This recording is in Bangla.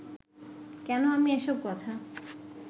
কেন আমি এসব কথা